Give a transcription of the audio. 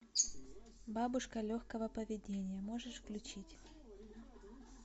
бабушка легкого поведения можешь включить